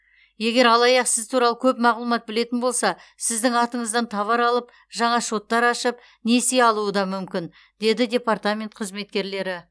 егер алаяқ сіз туралы көп мағлұмат білетін болса сіздің атыңыздан товар алып жаңа шоттар ашып несие алуы да мүмкін деді департамент қызметкерлері